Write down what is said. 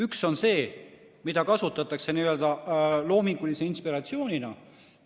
Üks on see, mida kasutatakse loomingulise inspiratsioonina.